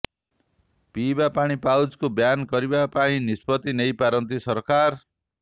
ପିଇବା ପାଣି ପାଉଚକୁ ବ୍ୟାନ କରିବା ପାଇଁ ନିଷ୍ପତି ନେଇ ପାରନ୍ତି ସରକାର